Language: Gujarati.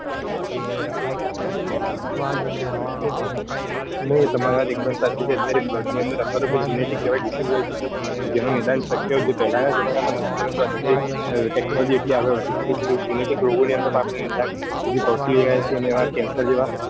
નઈ તામર વાત એક ડેમ સાચી જ છે અત્યાતરે blood ની અંદર genetic disease હોય છે જેનું નિદાંન શક્ય હોય કે જે પેલા ના જમાના માં નતુ પરંતુ અત્યારે technology એટલી બધી આગળ વધી ગઈ છે genetic રોગોની અંદર આપડે નિદાન સુધી પોચી ગયા છીએ અને cancer જેવા,